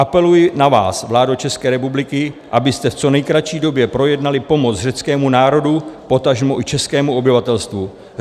Apeluji na vás, vládo České republiky, abyste v co nejkratší době projednali pomoc řeckému národu, potažmo i českému obyvatelstvu.